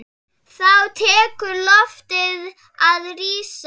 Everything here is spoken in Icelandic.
Þá tekur loftið að rísa.